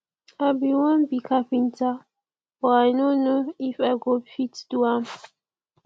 i bin wan be carpenter but i no know if i go fit do am